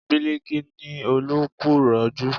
Biliki ni Olú kú ìrọ́jú